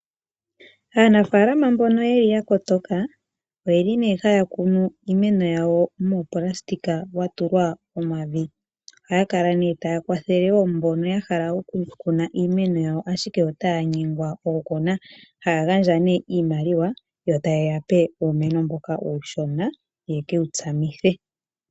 Aanafaalama mbono yeli yakotoka, oyeli haya kunu uumeno wawo muunayilona watulwa omavi. Ohaya kala taya kwathele mbono yahala okukuna iimeno yawo ashike otaya nyengwa okukuna. Ohaya gandja iimaliwa, yotaye yape iimaliwa mboka uushona yekewu tsamithe.